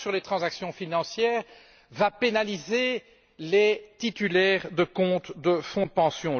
La taxe sur les transactions financières va pénaliser les titulaires de comptes de fonds de pension.